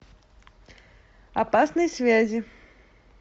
опасные связи